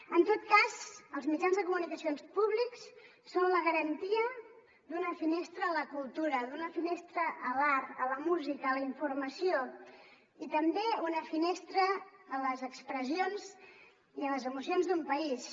en tot cas els mitjans de comunicació públics són la garantia d’una finestra a la cultura d’una finestra a l’art a la música a la informació i també una finestra a les expressions i a les emocions d’un país